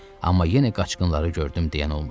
Amma yenə qaçqınları gördüm deyən olmurdu.